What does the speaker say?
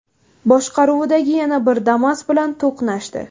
boshqaruvidagi yana bir Damas bilan to‘qnashdi.